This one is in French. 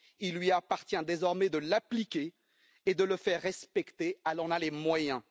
il lui appartient désormais de l'appliquer et de le faire respecter, car elle en a les moyens.